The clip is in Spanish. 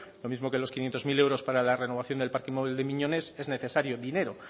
lo mismo que los quinientos mil euros para la renovación del parque móvil de miñones es necesario dinero